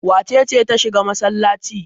Wace ce ta shiga masallaci?